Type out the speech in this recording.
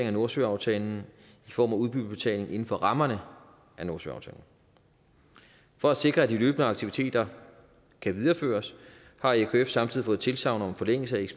af nordsøaftalen i form af udbyttebetaling inden for rammerne af nordsøaftalen for at sikre at de løbende aktiviteter kan videreføres har ekf samtidig fået tilsagn om forlængelse